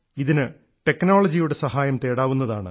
ഇതിന് ടെക്നോളജിയുടെ സഹായം തേടാവുന്നതാണ്